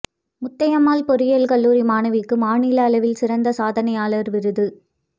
முத்தாயம்மாள் பொறியியல் கல்லூரி மாணவிக்கு மாநில அளவில் சிறந்த சாதனையாளா் விருது